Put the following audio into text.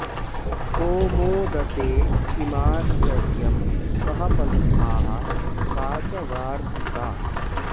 को मोदते किमाश्चर्यं कः पन्थाः का च वार्तिका